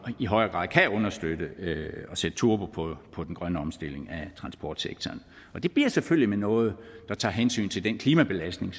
i højere grad kan understøtte og sætte turbo på den grønne omstilling af transportsektoren og det bliver selvfølgelig med noget der tager hensyn til den klimabelastning